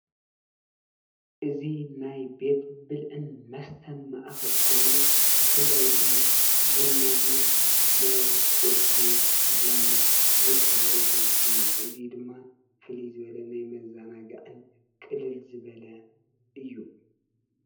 እዚ ናይ ቤት ብልዕን መስተን ማእከል ኮይኑ፣ ብፍላይ ድማ ቡና እና ናይ ቁርሲ ቡና ዝካየደሉ እዩ። እዚ ድማ ፍልይ ዝበለ ናይ መዘናግዕን ቅልል ዝበለ እዩ።